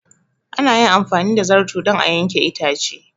An yi amfani da zarto don a yanke itace.